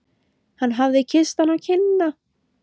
Hann hafði kysst hana á kinnina.